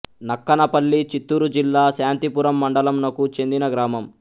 నక్కన పల్లి చిత్తూరు జిల్లా శాంతిపురం మండలం నకు చెందిన గ్రామం